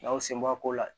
N'aw sen b'a ko la